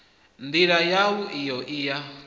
ndila yau iyo i ya